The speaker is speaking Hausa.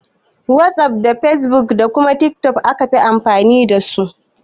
Wasuf da fesbuk da kuma tiktok aka fi amfani dasu.